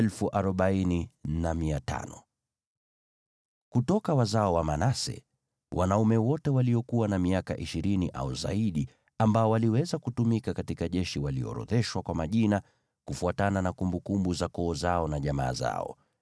Kutoka wazao wa Manase: Wanaume wote waliokuwa na miaka ishirini au zaidi ambao waliweza kutumika katika jeshi waliorodheshwa kwa majina, kufuatana na kumbukumbu za koo zao na jamaa zao.